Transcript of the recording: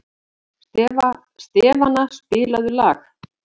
Stefana, spilaðu lag.